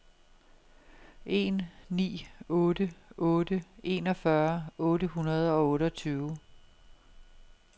en ni otte otte enogfyrre otte hundrede og otteogtyve